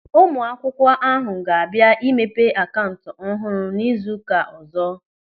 Ụmụ akwụkwọ ahụ ga-abịa imepe akaụntụ ọhụrụ n'izu ụka ọ̀zọ́.